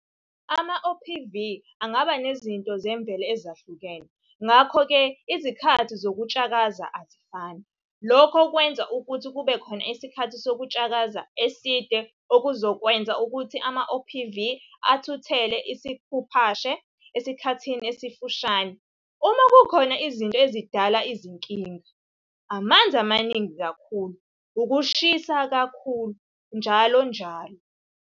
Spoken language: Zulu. AmaOPV angaba nezinto zemvelo ezahlukene ngakho-ke izikhathi zokutshakaza azifani. Lokhu kwenza ukuthi kubekhona isikhathi sokutshakaza eside okuzokwenza ukuthi amaOPV athuthele isikhuphashe esikhathini esimfushane uma kukhona izinto ezidala izinkinga, amanzi amaningi kakhulu, ukushisa kakhulu, njll.